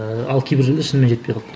ыыы ал кейбір жерде шынымен жетпей қалды